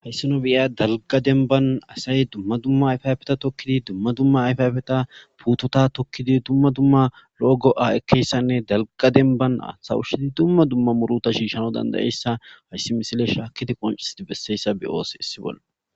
Hayisa biya dalga demban asay dumma dumma ayfafeta tokkidi dumma dumma ayfafeta puutota tokkidi dumma dumma lo'o go'a ekkeyssanne dalqadenbana sawushshidi dumma dumma muruta shiishana dandayeyssa hayssi misile shaakidi qonchesidi besseyssa biyoos issi bolla